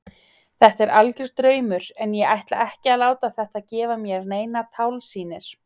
Þetta er algjör draumur en ég ætla ekki að láta þetta gefa mér neinar tálsýnir.